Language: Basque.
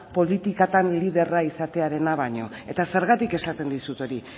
politikatan liderra izatearena baino eta zergatik esaten dizut hori